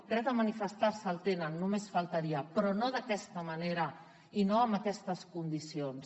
dret a manifestar se el tenen només faltaria però no d’aquesta manera i no amb aquestes condicions